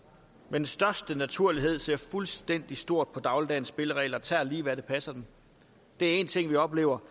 den største naturlighed ser fuldstændig stort på dagligdagens spilleregler og tager lige hvad der passer dem det er én ting vi oplever